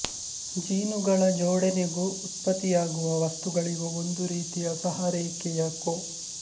ಜೀನುಗಳ ಜೋಡಣೆಗೂ ಉತ್ಪತ್ತಿಯಾಗುವ ವಸ್ತುಗಳಿಗೂ ಒಂದು ರೀತಿಯ ಸಹರೇಖೀಯ ಕೋ